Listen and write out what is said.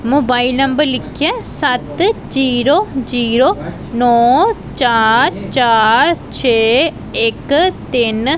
Mobile number ਲਿੱਖਿਆ ਹੈ ਸੱਤ ਜ਼ੀਰੋ ਜ਼ੀਰੋ ਨੌਂ ਚਾਰ ਚਾਰ ਛੇ ਇੱਕ ਤਿੰਨ।